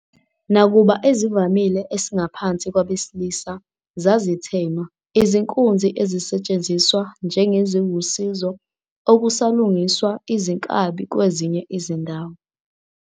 Nakuba ezivamile esingaphansi kwabesilisa zazithenwa, izinkunzi ezisetshenziswa njengeziwusizo okusalungiswa izinkabi kwezinye izindawo.